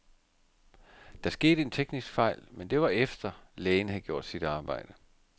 Der skete en teknisk fejl, men det var efter, lægen havde gjort sit arbejde.